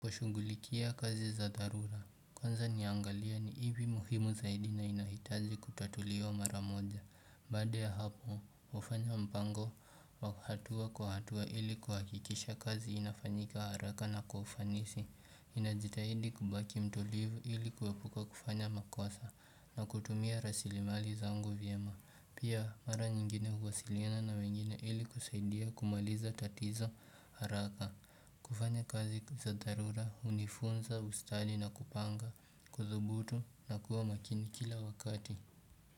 Kushugulikia kazi za dharura Kwanza niangalie ni ipi muhimu zaidi na inahitaji kutatuliwa mara moja Baada ya hapo, hufanya mpango wa hatua kwa hatua ili kuhakikisha kazi inafanyika haraka na kwa ufanisi ninajitahidi kubaki mtulivu ili kuepuka kufanya makosa na kutumia rasili mali zangu vyema Pia mara nyingine huwasiliana na wengine ili kusaidia kumaliza tatizo haraka kufanya kazi za dharura hunifunza ustadi na kupanga kudhubutu na kuwa makini kila wakati.